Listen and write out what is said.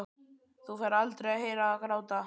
Þú færð aldrei að heyra það gráta.